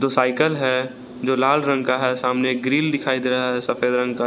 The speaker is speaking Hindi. साइकल है जो लाल रंग का है सामने एक ग्रिल दिखाई दे रहा है जो सफेद रंग का